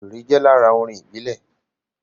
Wéré jẹ́ lára orin ìbílẹ̀